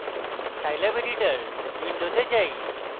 scilab editor window যাই